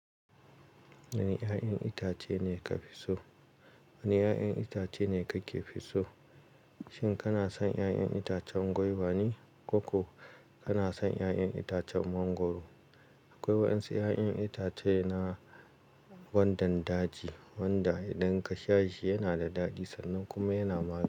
Wane 'ya'yan itace ne ka fi so? Wane 'ya'yan itace ne kake fi so? Shin kana son 'ya'yan itacen gwaiva ne ko ko kana son 'ya'yan itacen mangwaro? Akwai wasu 'ya'yan itace na gwandan daji wanda idan ka sha shi yana da daɗi sannan kuma yana magani.